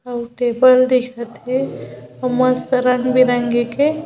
अऊ टेबल दिखत हे मस्त रंग-बिरंगी के --